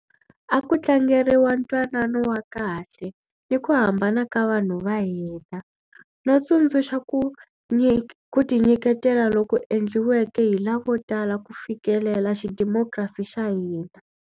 A ku tlangeriwa ntwanano wa kahle ni ku hambana ka vanhu va hina, no tsundzuxa ku tinyiketela loku endliweke hi lavotala ku fikelela xidemokirasi xa hina.